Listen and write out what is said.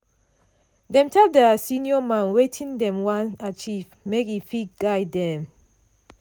dem tell their senior man wetin dem wan achieve make e fit guide dem.